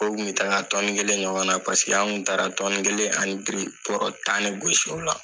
O Kun bɛ taa tɔni kelen ɲɔgɔn na la pasike an kun taara tɔni kelen ani biri bɔrɔ tan de gosi ola